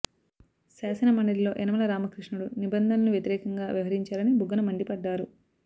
శాసన మండలిలో యనమల రామకృష్ణుడు నిబంధనలు వ్యతిరేకంగా వ్యవహరించారని బుగ్గన మండిపడ్డారు